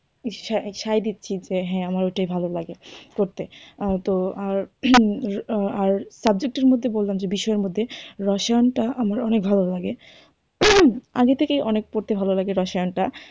সাই দিচ্ছি হ্যাঁ আমার ওইটাই ভালো লাগে করতে তো আর subject এর মধ্যে বললাম যে বিষয়ের মধ্যে রসায়নটা আমার অনেক ভালো লাগে। আগে থেকেই অনেক পড়তে ভালো লাগে রসায়নটা।